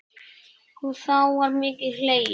Og þá var mikið hlegið.